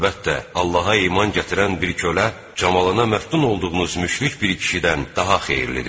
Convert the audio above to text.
Əlbəttə, Allaha iman gətirən bir kölə, camalına məftun olduğunuz müşrik bir kişidən daha xeyirlidir.